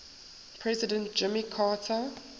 president jimmy carter